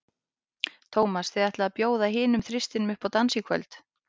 Tómas, þið ætlið að bjóða hinum þristinum upp í dans í kvöld?